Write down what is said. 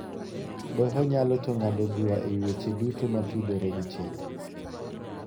Doho yalo to ng'ado bura e wi weche duto motudore gi chik.